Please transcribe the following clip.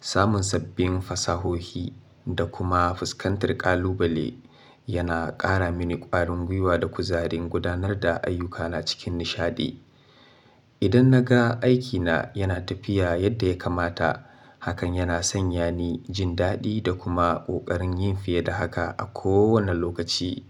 Samun sabbin fasahohi da kuma fuskantar ƙalubale yana ƙara mini ƙwarin gwiwa da kuzari gudanar da ayyukana cikin nishaɗi. Idan na ga aikina yana tafiya yadda ya kamata, hakan yana sanya ni jin daɗi da kuma ƙoƙarin yin fiye da haka a kowane lokaci.